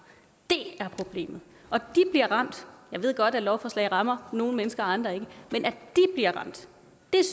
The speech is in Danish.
det er problemet og de bliver ramt jeg ved godt at lovforslaget rammer nogle mennesker og andre ikke men at de bliver ramt